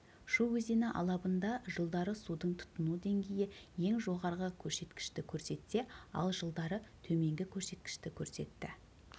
шу өзені алабында жылдары судың тұтыну деңгейі ең жоғарғы көрсеткішті көрсетсе ал жылдары төменгі көрсеткішті көрсетті